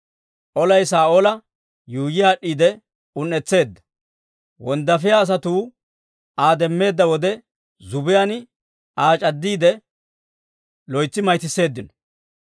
Olay Saa'oola yuuyyi aad'd'iide un"etseedda; wonddaafiyaa asatuu Aa demmeedda wode, zubbiyaan Aa c'addiide, loytsi mayttiseeddino.